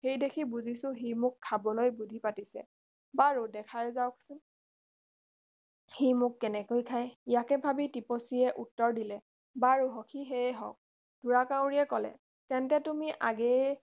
সেইদেখি বুজিছো সি মোক খাবলৈ বুধি পাতিছে বাৰু দেখাই যাওকচোন সি মোক কেনেকৈ খায় ইয়াকে ভাবি টিপচীয়ে উত্তৰ দিলে বাৰু সখি সেয়ে হওক ঢোঁৰাকাউৰীয়ে কলে তেন্তে তুমি আগেয়ে